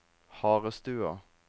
Harestua